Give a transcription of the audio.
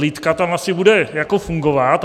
Lidka tam asi bude jako fungovat.